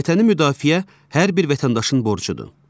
Vətəni müdafiə hər bir vətəndaşın borcudur.